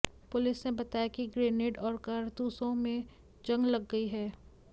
police ने बताया कि ग्रेनेड और कारतूसों में जंग लग गई है